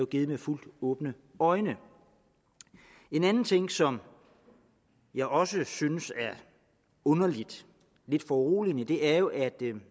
givet med fuldt åbne øjne en anden ting som jeg også synes er underlig lidt foruroligende er jo at